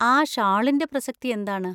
ആ ഷാളിന്‍റെ പ്രസക്തി എന്താണ്?